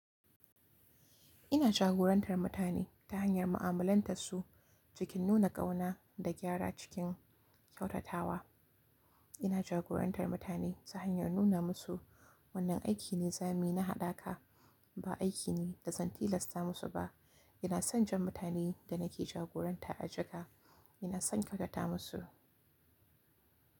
Ina jagorantar mutane ta hanyar mu'amalantar su cikin nuna ƙauna da gyara cikin kyautatawa. Ina jagorantar mutane ta hanyar nuna musu wannan aiki ne, zamuyi na haɗaka, ba aiki ne da zan tilasta musu ba. Ina son jan mutanen da nake jagoranta a jika, ina son kyautata musu.